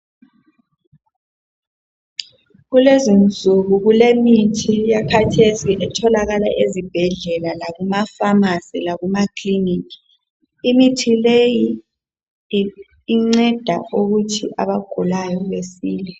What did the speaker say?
Kulezinsuku kulemithi eyakhathesi ethokala ezibhedlela lakumafamasi lakumakilinika imithi leyi inceda ukuthi abagulayo basile.